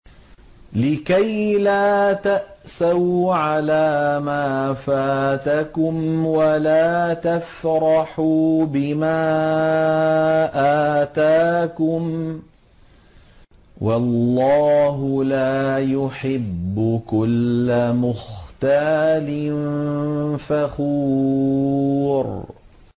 لِّكَيْلَا تَأْسَوْا عَلَىٰ مَا فَاتَكُمْ وَلَا تَفْرَحُوا بِمَا آتَاكُمْ ۗ وَاللَّهُ لَا يُحِبُّ كُلَّ مُخْتَالٍ فَخُورٍ